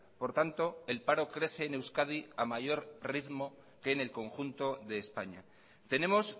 por tanto el paro crece en euskadi a mayor ritmo que en el conjunto de españa tenemos